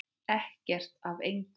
Ekkert af engu.